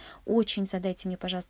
очень задайте мне пожалуйс